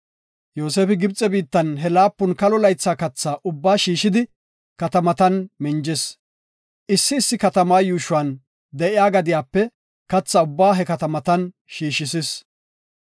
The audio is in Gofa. Yoosefi Gibxe biittan he laapun kalo laytha katha ubbaa shiishidi, katamatan minjis. Issi issi katama yuushuwan de7iya gadiyape katha ubbaa he katamatan shiishis.